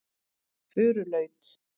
Furulaut